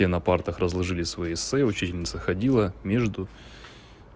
на партах разложили свои эссе учительница ходила между